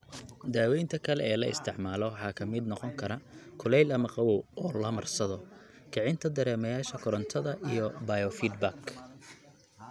Daawaynta kale ee la isticmaalo waxaa ka mid noqon kara kulayl ama qabow oo la marsado; kicinta dareemayaasha korantada; iyo biofeedback.